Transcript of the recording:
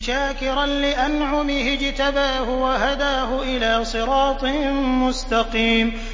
شَاكِرًا لِّأَنْعُمِهِ ۚ اجْتَبَاهُ وَهَدَاهُ إِلَىٰ صِرَاطٍ مُّسْتَقِيمٍ